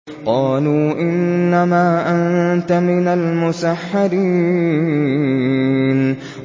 قَالُوا إِنَّمَا أَنتَ مِنَ الْمُسَحَّرِينَ